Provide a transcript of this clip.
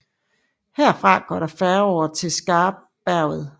Herfra går der færge over til Skarberget